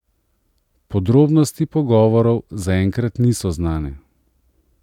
Podrobnosti pogovorov zaenkrat niso znane.